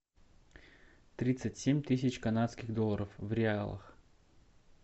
тридцать семь тысяч канадских долларов в реалах